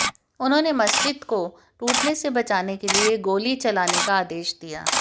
उन्होंने मस्जिद को टूटने से बचाने के लिए गोली चलाने का आदेश दिया